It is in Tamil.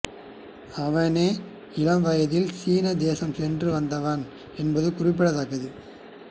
அவனே இளவயதில் சீன தேசம் சென்று வந்தவன் என்பது குறிப்பிடத்தக்கது